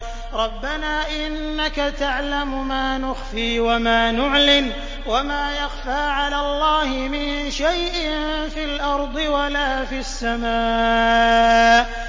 رَبَّنَا إِنَّكَ تَعْلَمُ مَا نُخْفِي وَمَا نُعْلِنُ ۗ وَمَا يَخْفَىٰ عَلَى اللَّهِ مِن شَيْءٍ فِي الْأَرْضِ وَلَا فِي السَّمَاءِ